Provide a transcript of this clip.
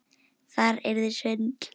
Það yrði svindl.